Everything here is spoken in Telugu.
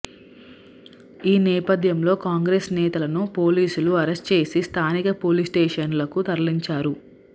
ఈ నేపధ్యంలో కాంగ్రెస్ నేతలను పోలీసులు అరెస్ట్ చేసి స్థానిక పోలీస్ స్టేషన్లకు తరలించారు